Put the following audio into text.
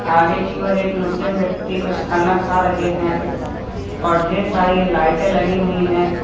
आगे की ओर एक मुस्लिम व्यक्ती कुछ खाना खा रहे हैं और ढेर सारी लाइटें लगी हुई हैं।